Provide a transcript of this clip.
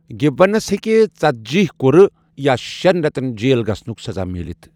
گِبونس ہیکہ ژتٔجِی كُرٕ یا شین ریتن جیل گژھنک سزا میلِتھ